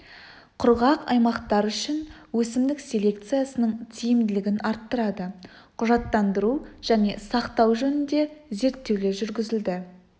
құрғақ аймақтар үшін өсімдік селекциясының тиімділігін арттырады құжаттандыру және сақтау жөнінде зерттеулер жүргізілді